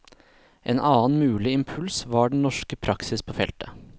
En annen mulig impuls var den norske praksis på feltet.